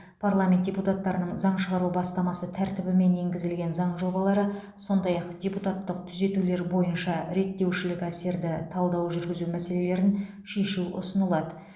парламент депутаттарының заң шығару бастамасы тәртібімен енгізілген заң жобалары сондай ақ депутаттық түзетулер бойынша реттеушілік әсерді талдау жүргізу мәселелерін шешу ұсынылады